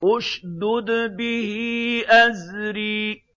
اشْدُدْ بِهِ أَزْرِي